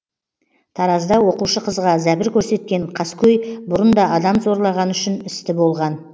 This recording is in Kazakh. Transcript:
таразда оқушы қызға зәбір көрсеткен қаскөй бұрын да адам зорлағаны үшін істі болған